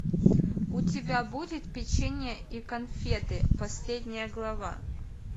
у тебя будет печенье и конфеты последняя глава